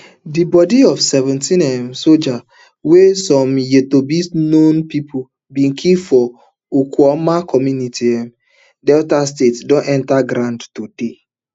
di bodi of seventeen um sojas wey some known pipo bin kill for okuama community um delta state don enta ground today